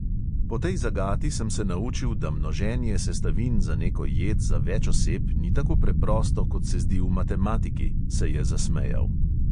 "Po tej zagati sem se naučil, da množenje sestavin za neko jed za več oseb ni tako preprosto, kot se zdi v matematiki," se je zasmejal.